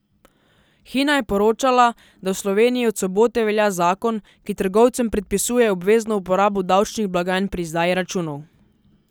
Hina je poročala, da v Sloveniji od sobote velja zakon, ki trgovcem predpisuje obvezno uporabo davčnih blagajn pri izdaji računov.